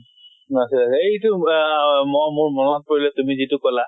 আছিল এইটো আহ ম মোৰ মনত পৰিলে তুমি যিটো কলা